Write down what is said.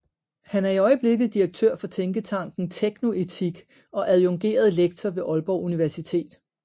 Han er i øjeblikket direktør for tænketanken TeknoEtik og adjungeret lektor ved Aalborg Universitet